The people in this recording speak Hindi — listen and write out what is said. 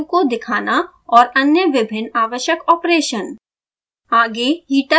पैरामीटर वैल्यू को दिखाना और अन्य विभिन्न आवश्यक ऑपरेशन